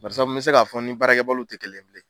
Bari sabu me se k'a fɔ n ni baarakɛbaliw tɛ kelen ye bilen